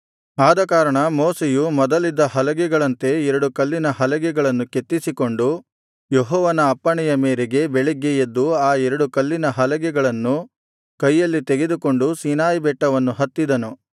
ಆದಕಾರಣ ಮೋಶೆಯು ಮೊದಲಿದ್ದ ಹಲಗೆಗಳಂತೆ ಎರಡು ಕಲ್ಲಿನ ಹಲಗೆಗಳನ್ನು ಕೆತ್ತಿಸಿಕೊಂಡು ಯೆಹೋವನ ಅಪ್ಪಣೆಯ ಮೇರೆಗೆ ಬೆಳಗ್ಗೆ ಎದ್ದು ಆ ಎರಡು ಕಲ್ಲಿನ ಹಲಗೆಗಳನ್ನು ಕೈಯಲ್ಲಿ ತೆಗೆದುಕೊಂಡು ಸೀನಾಯಿಬೆಟ್ಟವನ್ನು ಹತ್ತಿದನು